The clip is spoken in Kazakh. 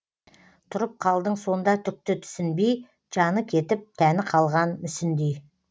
тұрып қалдың сонда түкті түсінбей жаны кетіп тәні қалған мүсіндей